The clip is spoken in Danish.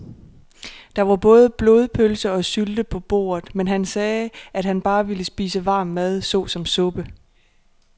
Der var både blodpølse og sylte på bordet, men han sagde, at han bare ville spise varm mad såsom suppe.